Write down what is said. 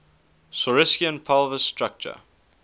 saurischian pelvis structure